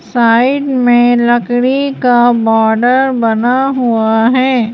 Side में लकड़ी का बॉर्डर बना हुआ है।